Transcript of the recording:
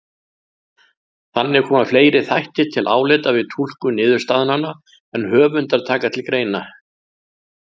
Þannig koma fleiri þættir til álita við túlkun niðurstaðnanna en höfundar taka til greina.